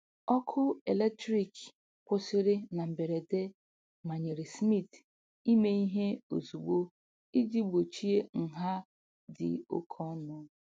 Ọkụ eletrik kwụsịrị na mberede manyere Smith ime ihe ozugbo iji gbochie nha dị oke ọnụ.